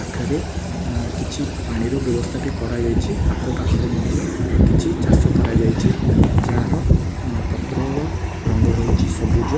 ପାଖରେ ଏଁ କିଛି ପାଣିର ବ୍ୟବସ୍ଥା ବି କରାଯାଇଛି ଆଖପାଖରେ ମଧ୍ୟ କିଛି ଚାଷ କରାଯାଇଛି ଯାହାର ପତ୍ରର ରଙ୍ଗ ରହିଛି ସବୁଜ ।